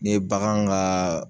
N'i ye bagan ka